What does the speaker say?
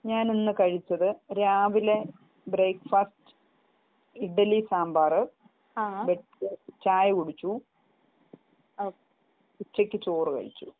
ഞാൻ ഇന്ന് കഴിച്ചത് രാവിലെ ബ്രേക്ഫാസ്റ് ഇഡലി സാമ്പാറ് ചായ കുടിച്ചു ഉച്ചക്ക് ചോറ് കഴിച്ചു